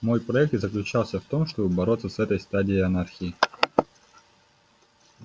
мой проект и заключался в том чтобы бороться с этой стадией анархии